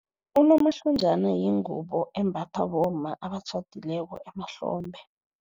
Unomahlonjana yingubo embathwa bomma abatjhadileko emahlombe.